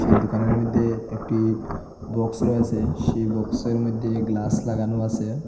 এই দোকানের মধ্যে একটি বক্স রয়েসে সেই বক্সের মধ্যে গ্লাস লাগানো আসে।